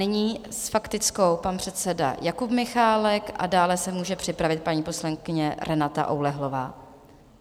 Nyní s faktickou pan předseda Jakub Michálek a dále se může připravit paní poslankyně Renata Oulehlová.